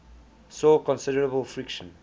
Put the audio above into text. saw considerable friction